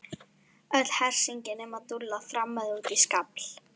Öll hersingin nema Dúlla þrammaði út í skafl.